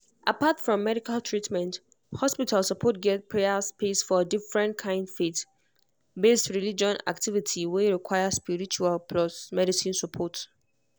apart from medical treatment hospital suppose get prayer space for different kind faith-based religious activity were require spiritual plus medicine support